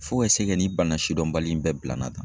Fo ka se kɛ nin bana sidɔnbali in bɛɛ bila nan tan